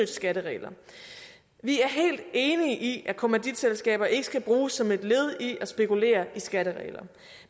skatteregler vi er helt enige i at kommanditselskaber ikke skal bruges som et led i at spekulere i skattereglerne